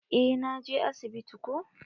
Eh na je asibiti ko.